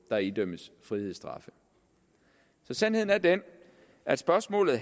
der idømmes frihedsstraffe så sandheden er den at spørgsmålet